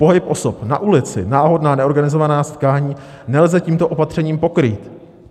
Pohyb osob na ulici, náhodná neorganizovaná setkání nelze tímto opatřením pokrýt.